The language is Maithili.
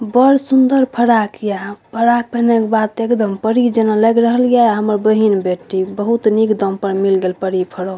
बड़ सुंदर फराक या फराक पहिना के बाद ते एकदम परी जना लाग रहल या हमर बहिन बेटी बहुत निक दाम पर मिल गेल परी फ्रॉक ।